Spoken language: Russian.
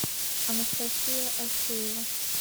анастасия асеева